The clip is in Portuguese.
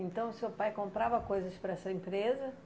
Então o seu pai comprava coisas para essa empresa?